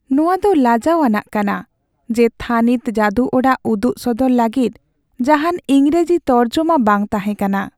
ᱱᱚᱶᱟ ᱫᱚ ᱞᱟᱡᱟᱣ ᱟᱱᱟᱜ ᱠᱟᱱᱟ ᱡᱮ ᱛᱷᱟᱹᱱᱤᱛ ᱡᱟᱹᱫᱩ ᱚᱲᱟᱜ ᱩᱫᱩᱜ ᱥᱚᱫᱚᱨ ᱞᱟᱹᱜᱤᱫ ᱡᱟᱦᱟᱱ ᱤᱝᱨᱮᱡᱤ ᱛᱚᱨᱡᱚᱢᱟ ᱵᱟᱝ ᱛᱟᱦᱮᱸ ᱠᱟᱱᱟ ᱾